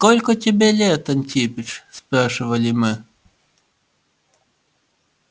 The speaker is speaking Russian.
сколько тебе лет антипыч спрашивали мы